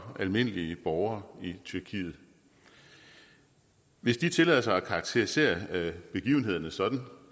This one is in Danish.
almindelige borgere i tyrkiet hvis de tillader sig at karakterisere begivenhederne sådan